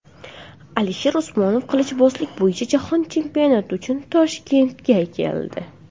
Alisher Usmonov qilichbozlik bo‘yicha jahon chempionati uchun Toshkentga keldi.